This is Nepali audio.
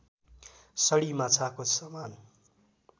सडी माछाको समान